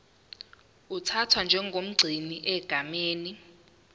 uthathwa njengomgcini egameni